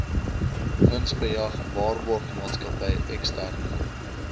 winsbejag waarborgmaatskappy eksterne